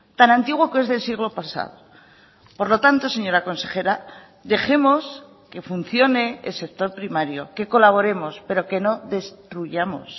tan antiguo que es del siglo pasado por lo tanto señora consejera dejemos que funcione el sector primario que colaboremos pero que no destruyamos